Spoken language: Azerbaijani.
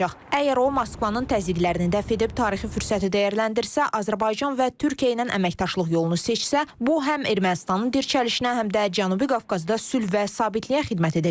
Əgər o, Moskvanın təzyiqlərini dəf edib, tarixi fürsəti dəyərləndirsə, Azərbaycan və Türkiyə ilə əməkdaşlıq yolunu seçsə, bu həm Ermənistanın dirçəlişinə, həm də Cənubi Qafqazda sülh və sabitliyə xidmət edəcək.